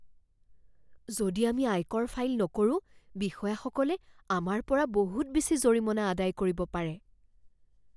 যদি আমি আয়কৰ ফাইল নকৰোঁ, বিষয়াসকলে আমাৰ পৰা বহুত বেছি জৰিমনা আদায় কৰিব পাৰে।